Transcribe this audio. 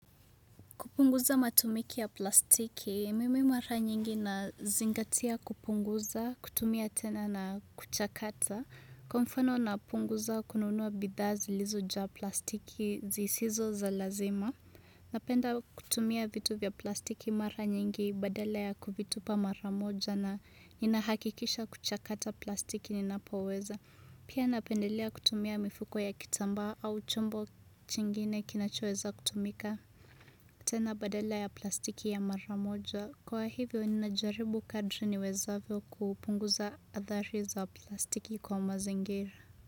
Kupunguza matumiki ya plastiki, mimi mara nyingi nazingatia kupunguza, kutumia tena na kuchakata. Kwa mfano napunguza kununua bidhaa zilizojaa plastiki zisizo za lazima. Napenda kutumia vitu vya plastiki mara nyingi badala ya kuvitupa mara moja na inahakikisha kuchakata plastiki ninapoweza. Pia napendelea kutumia mifuko ya kitambaa au chombo chingine kinachoweza kutumika. Tena badala ya plastiki ya mara moja. Kwa hivyo, ninajaribu kadri niwezavyo kupunguza adhari za plastiki kwa mazingira.